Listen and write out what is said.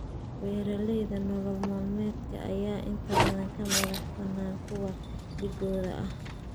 Beeralayda nolol maalmeedka ayaa inta badan ka madax banaan kuwa dhigooda ah.